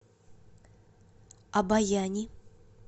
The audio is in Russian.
обояни